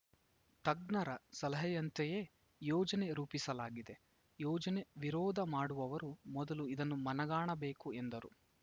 ತಜ್ಞರ ಸಲಹೆಯಂತೆಯೇ ಯೋಜನೆ ರೂಪಿಸಲಾಗಿದೆ ಯೋಜನೆ ವಿರೋಧ ಮಾಡುವವರು ಮೊದಲು ಇದನ್ನು ಮನಗಾಣಬೇಕು ಎಂದರು